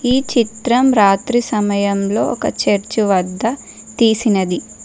ఈ చిత్రం రాత్రి సమయంలో ఒక చర్చి వద్ద తీసినది.